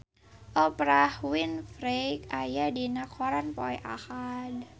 Oprah Winfrey aya dina koran poe Ahad